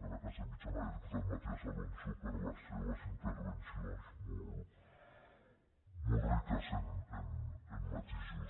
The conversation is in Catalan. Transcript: magda casamitjana i el diputat matías alonso per les seves intervencions molt riques en matisos